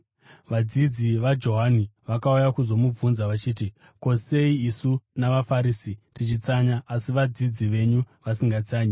Vadzidzi vaJohani vakauya kuzomubvunza vachiti, “Ko, sei isu navaFarisi tichitsanya asi vadzidzi venyu vasingatsanyi.”